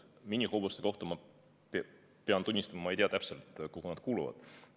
Minihobuste kohta ma pean tunnistama, et ma ei tea täpselt, kuhu nad kuuluvad.